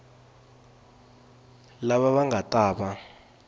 lava va nga ta va